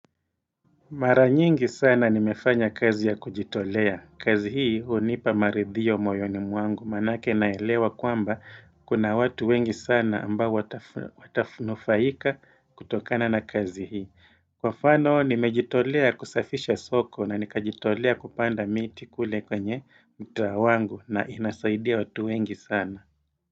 Maranyingi sana nimefanya kazi ya kujitolea. Kazi hii hunipa maridhiyo moyoni mwangu manake naelewa kwamba kuna watu wengi sana ambao watafunufaika kutokana na kazi hii. Kwa mfano nimejitolea kusafisha soko na nikajitolea kupanda miti kule kwenye mtaa wangu na inasaidia watu wengi sana.